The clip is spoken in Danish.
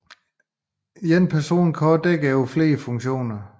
En person kan også dække flere funktioner